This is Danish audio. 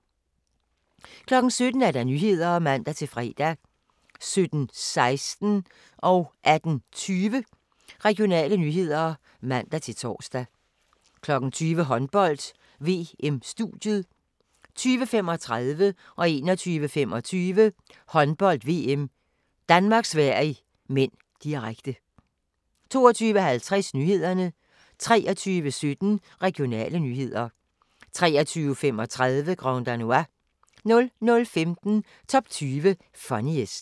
17:00: Nyhederne (man-fre) 17:16: Regionale nyheder (man-tor) 18:20: Regionale nyheder (man-tor) 20:00: Håndbold: VM - studiet 20:35: Håndbold: VM - Danmark-Sverige (m), direkte 21:25: Håndbold: VM - Danmark-Sverige (m), direkte 22:50: Nyhederne 23:17: Regionale nyheder 23:35: Grand Danois 00:05: Top 20 Funniest